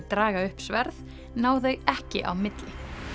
draga upp sverð ná þau ekki á milli